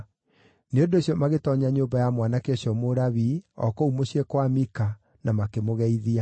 Nĩ ũndũ ũcio magĩtoonya nyũmba ya mwanake ũcio Mũlawii o kũu mũciĩ kwa Mika na makĩmũgeithia.